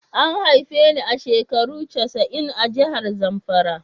A haife ni a shekaru casa'in a'jihar Zamfara.